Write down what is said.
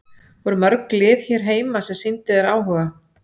Voru mörg lið hér heima sem sýndu þér áhuga?